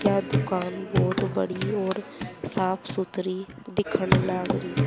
यह दुकान बहोत बड़ी और साफ सुथरी